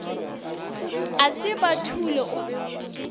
a se ba thule o